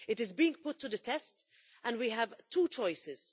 It is being put to the test and we have two choices.